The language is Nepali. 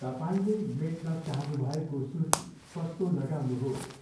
तपाईँले मेट्न चाहनुभएको सूची पत्तो लगाउनुहोस्।